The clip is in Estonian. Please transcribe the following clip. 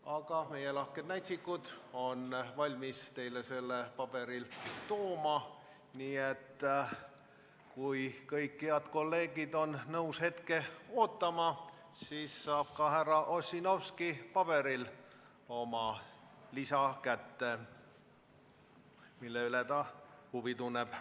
Aga meie lahked näitsikud on valmis teile selle tabeli paberil tooma, nii et kui kõik head kolleegid on nõus hetke ootama, siis saab ka härra Ossinovski paberil kätte oma lisa, mille vastu ta huvi tunneb.